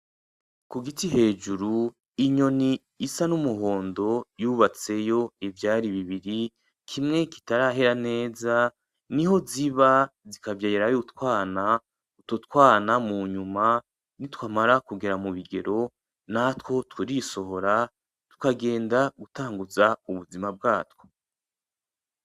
Ku giti hejuru, inyoni isa n'umuhondo yubatseyo ivyari bibiri, kimwe kitarahera neza. Niho ziba zikavyayarirayo utwana. Utwo twana mu nyuma, nitwamara kugera mu bigero, natwo turisohora tukagenda gutanguza ubuzima bwatwo.